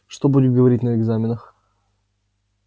что будет говорить на экзаменах